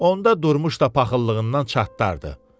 Onda Durmuş da paxıllığından çatdardı.